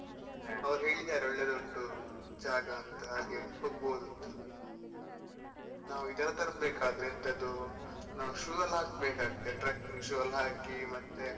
ಹಾ ಅವ್ರು ಹೇಳಿದ್ದಾರೆ ಒಳ್ಳೇದ್ ಉಂಟು, ಜಾಗ ಅಂತ ಹಾಗೆ ಹೋಗಬೋದು ಅಂತ ನಾವ್ ಇದೆಲ್ಲ ತರ್ಬೇಕು ಆದ್ರೆ ಎಂತದು, ನಾವ್ shoe ಎಲ್ಲ ಹಾಕ್ಬೇಕಾಗ್ತಾದೆ trucking shoe ಎಲ್ಲ ಹಾಕಿ ಮತ್ತೆ.